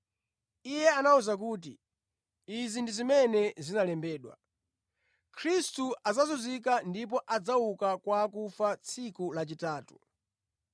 Iye anawawuza kuti, “Izi ndi zimene zinalembedwa: Khristu adzazunzika ndipo adzauka kwa akufa tsiku lachitatu.